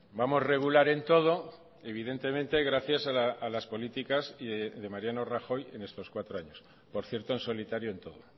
vamos regular en todo evidentemente gracias a las políticas de mariano rajoy en estos cuatro años por cierto en solitario en todo